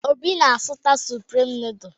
Obi na-azụta Suprim nọọdụ.